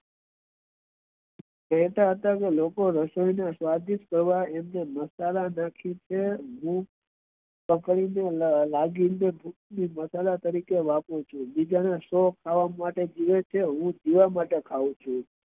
કેહતા હતા લોકો રસોઈ ને સ્વાદિષ્ઠ કરવા મસાલા નાખે છે બીજા ના શોખ ખાવા માટે જીવે છે હું જીવવા માટે ખાવું છુ